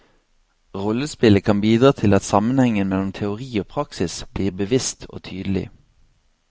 Rollespillet kan bidra til at sammenhengen mellom teori og praksis blir bevisst og tydelig.